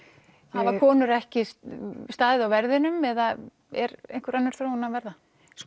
hafa konur ekki staðið á verðinum eða er einhver önnur þróun að verða